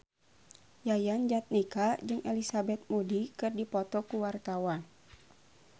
Yayan Jatnika jeung Elizabeth Moody keur dipoto ku wartawan